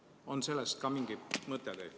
On teil selle kohta ka midagi öelda?